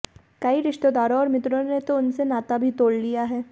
कई रिश्तेदारों और मित्रों ने तो उनसे नाता भी तोड़ लिया है